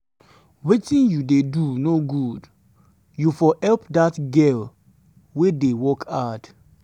wetin you dey do no good. you for help dat girl wey dey work hard.